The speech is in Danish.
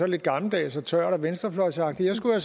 lidt gammeldags og tørt og venstrefløjsagtigt jeg skulle